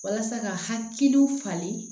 Walasa ka hakilinaw falen